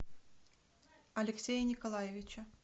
алексея николаевича